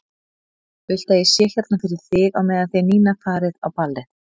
Viltu að ég sé hérna fyrir þig á meðan þið Nína farið á ballið?